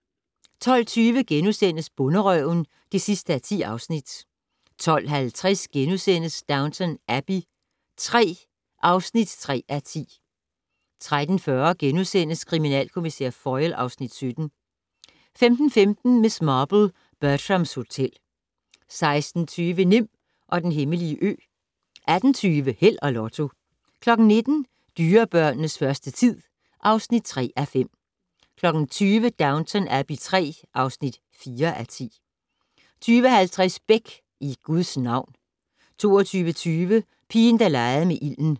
12:20: Bonderøven (10:10)* 12:50: Downton Abbey III (3:10)* 13:40: Kriminalkommissær Foyle (Afs. 17)* 15:15: Miss Marple: Bertrams Hotel 16:50: Nim og den hemmelige ø 18:20: Held og Lotto 19:00: Dyrebørnenes første tid (3:5) 20:00: Downton Abbey III (4:10) 20:50: Beck: I Guds navn 22:20: Pigen der legede med ilden